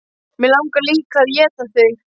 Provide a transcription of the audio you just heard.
Mig langar líka að éta þig.